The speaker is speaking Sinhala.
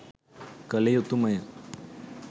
කළ යුතුමය.